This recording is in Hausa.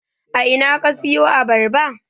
A ina ka siyo Abarba?